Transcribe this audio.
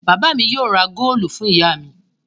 Bàbá mi yóò ra góólù fún ìyá mi.